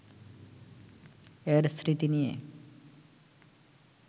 এর স্মৃতি নিয়ে